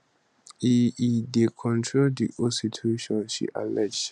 e e dey control di whole situation she allege